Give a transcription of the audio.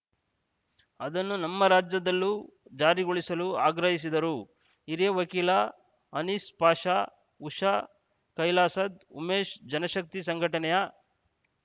ಅದನ್ನು ನಮ್ಮ ರಾಜ್ಯದಲ್ಲೂ ಜಾರಿಗೊಳಿಸಲು ಆಗ್ರಹಿಸಿದರು ಹಿರಿಯ ವಕೀಲ ಅನೀಸ್‌ ಪಾಷಾ ಉಷಾ ಕೈಲಾಸದ್‌ ಉಮೇಶ ಜನಶಕ್ತಿ ಸಂಘಟನೆಯ